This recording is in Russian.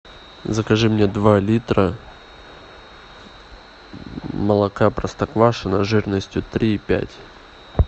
закажи мне два литра молока простоквашино жирностью три и пять